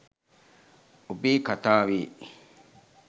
ඔබේ කතාවේ